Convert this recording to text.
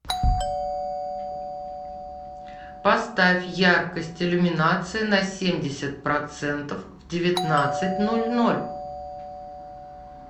поставь яркость иллюминации на семьдесят процентов в девятнадцать ноль ноль